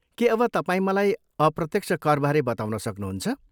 के अब तपाईँ मलाई अप्रत्यक्ष करबारे बताउन सक्नुहुन्छ?